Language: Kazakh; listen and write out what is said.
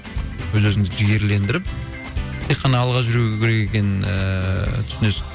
өз өзімізді жігерлендіріп тек қана алға жүру керек екенін ііі түсінесің